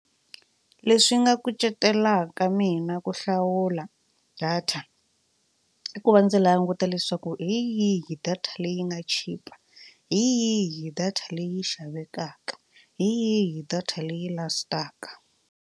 Leswi nga kucetelaka mina ku hlawula data i ku va ndzi languta leswaku hi yihi data leyi nga chipa hi yihi data leyi xavekaka hi yihi data leyi last-aka.